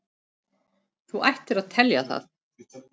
Þú ættir að telja það.